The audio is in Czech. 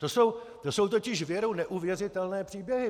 To jsou totiž věru neuvěřitelné příběhy.